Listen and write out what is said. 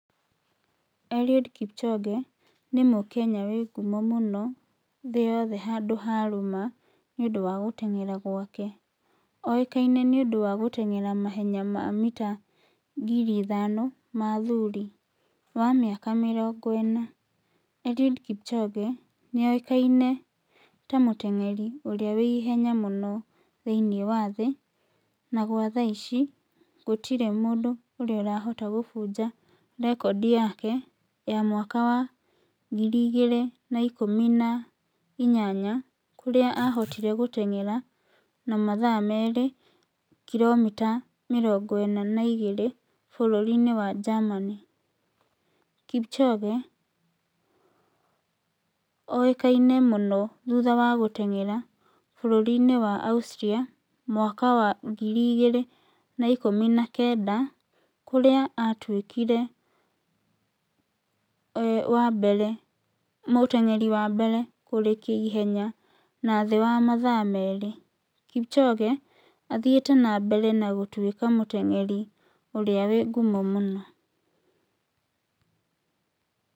Eliud Kipchoge nĩ mũkenya wĩ ngumo mũno thĩ yothe handũ yarũma nĩ ũndũ wa gũteng'era gwake. Oĩkaine nĩ ũndũ wa gũteng'era mahenya ma mita ngiri ithano na mathuri wa mĩaka mĩrongo ĩna. Eliud Kipchoge nĩoĩkaine ta muteng'eri ũrĩa wĩ ĩhenya mũno thĩinĩ wa thĩ naguo tha ici gũtirĩ mũndũ ũrĩrahota gũbunja rekondi yake ya mwaka wa ngiri igĩrĩ na ikũmi na inyanya kũrĩa ahotire gũteng'era na mathaa mere kilomita mĩrongo ĩna na igĩrĩ bũrũri -inĩ w wa Germany Kipchoge oĩkaine mũno thutha wa gũteng'era bũrũri wa Australia mwaka wa ngiri igĩrĩ na ikũmi na kenda kũrĩa atwĩkire wa mbere, muteng'eri wa mbere kũrĩkia ihenya na thĩ wa mathaa mere. Kipchoge athiĩte na mbere gũtuwĩka muteng'eri ũrĩa wĩ ngumo mũno.